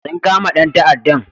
Sun kama dan ta'addan